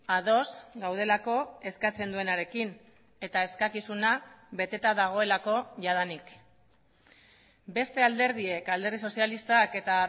ados gaudelako eskatzen duenarekin eta eskakizuna beteta dagoelako jadanik beste alderdiek alderdi sozialistak eta